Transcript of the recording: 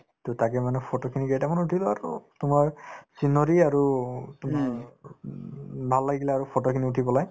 to তাকে মানে photo খিনি যে এটা তোমাৰ scenery আৰু তোমাৰ উম ভাল লাগিলে আৰু photo খিনি উঠি পেলায়